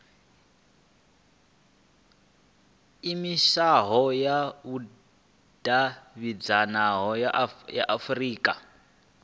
iimisaho ya vhudavhidzano ya afurika